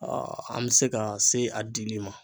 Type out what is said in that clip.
an be se ka se a dili ma.